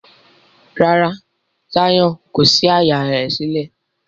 Ràrá Zion kò sí àyá rẹ sílẹ̀.